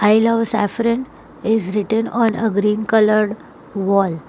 I love saffron is written on a green coloured wall.